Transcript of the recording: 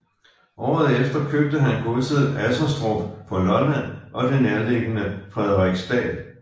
Året efter købte han godset Asserstrup på Lolland og det nærliggende Frederiksdal